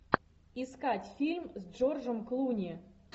искать фильм с джорджем клуни